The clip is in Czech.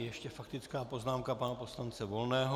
Ještě faktická poznámka pana poslance Volného.